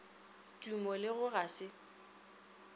tumo le go ga se